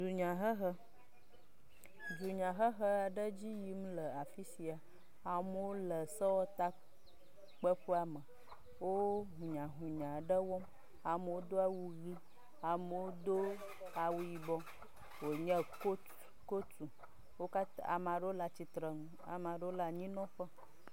Dunyahehe, dunyahehe aɖe le edzi yim le afi sia, amewo le sewɔtakpeƒea me, wo ŋunyaŋunya aɖe wɔm, amewo do awu ʋi amewo do awu yibɔ wonye ko…t.. kotu wo katã ame aɖewo le atsitre nu ame aɖewo le anyinɔƒe.